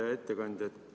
Hea ettekandja!